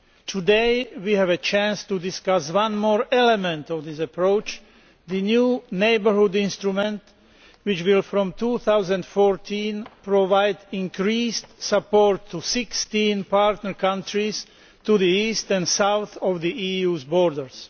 Today we have a chance to discuss one more element of this approach the new neighbourhood instrument which will from 2014 provide increased support to 16 partner countries to the east and south of the EU borders.